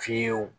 Fiyewu